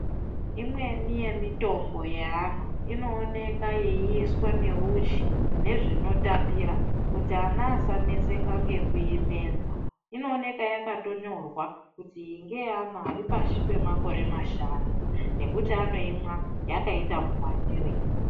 Imweni yemitombo yeana inooneka yeiiswa neuchi nezvinotapira kuti ana asaneseka ngekuimedza , inooneka yakatonyorwa kuti iyo ngeyeana aripashi pemakore mashanu nekuti anoimwa yakaita muwandirei.